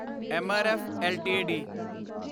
MRF LTD